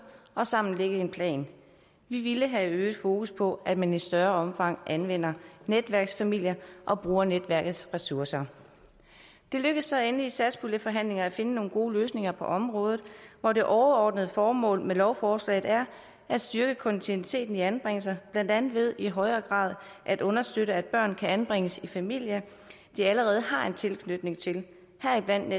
og sammen lægge en plan vi ville have øget fokus på at man i større omfang anvender netværksfamilier og bruger netværkets ressourcer det lykkedes så endelig i satspuljeforhandlingerne at finde nogle gode løsninger på området hvor det overordnede formål med lovforslaget er at styrke kontinuiteten i anbringelserne blandt andet ved i højere grad at understøtte at børn kan anbringes i familier de allerede har en tilknytning til heriblandt